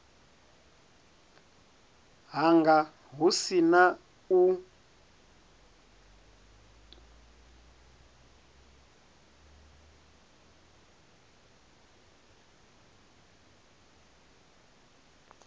hanga hu si na u